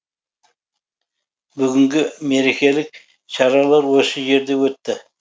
бүгінгі мерекелік шаралар осы жерде өтті